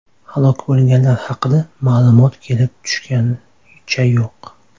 Halok bo‘lganlar haqida ma’lumot kelib tushganicha yo‘q.